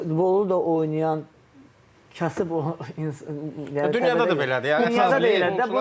Yəni futbolu da oynayan kasıb o insan dünyada da belədir, yəni dünyada da belədir də.